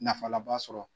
Nafa laba sɔrɔ